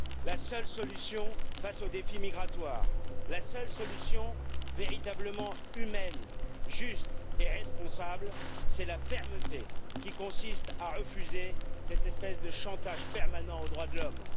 La seule solution face au défi migratoire, la seule solution véritablement humaine, juste et responsable, c'est la fermeté qui consiste à refuser cette espèce de chantage permanent aux droits de l'homme!